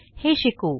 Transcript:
हे शिकू